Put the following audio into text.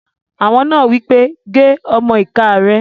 Awo náà wí pé "gé ọmọ-ìká rẹ̀!"